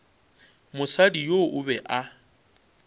mosadi yoo o be a